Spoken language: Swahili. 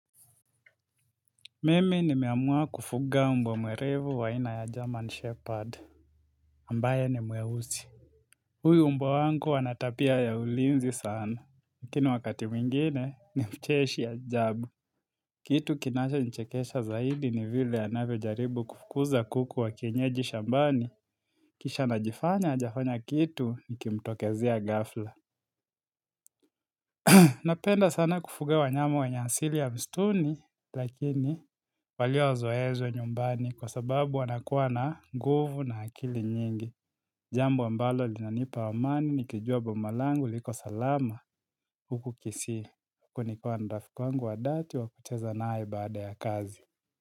Mimi nimeamua kufuga mbwa mwerevu wa aina ya German Shepherd, ambaye ni mweuzi. Huyo mbwa wangu anatapia ya ulinzi sana, lakini wakati mwingine ni mcheshi ya ajabu. Kitu kinacho nichekesha zaidi ni vile anavo jaribu kufukuza kuku wa kienyeji shambani, kisha anajifanya hajafanya kitu nikimtokezia ghafla. Napenda sana kufuge wa nyama wa nyansili ya mstuni, lakini waliozoezo nyumbani kwa sababu wanakuwa na nguvu na akili nyingi. Jambo ambalo li nanipa amani, nikijua bomalangu liko salama, huku kisii, kunikuwa narafiku wangu wa dhati wa kucheza nayeibaada ya kazi.